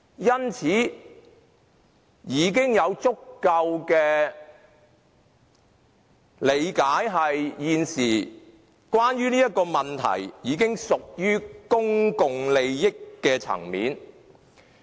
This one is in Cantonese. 因此，我們已經有足夠的理解，認為現時這個問題已經屬於公共利益的層面。